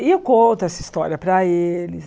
E eu conto essa história para eles.